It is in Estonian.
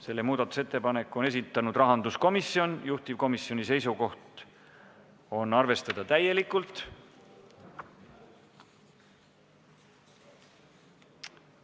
Selle on esitanud rahanduskomisjon, juhtivkomisjoni seisukoht on arvestada täielikult.